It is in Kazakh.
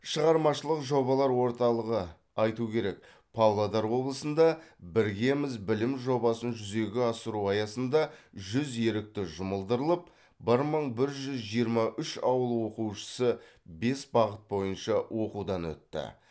шығармашылық жобалар орталығы айту керек павлодар облысында біргеміз білім жобасын жүзеге асыру аясында жүз ерікті жұмылдырылып бір мың бір жүз жиырма үш ауыл оқушысы бес бағыт бойынша оқудан өтті